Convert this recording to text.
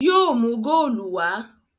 Yóò mú góòlù wá!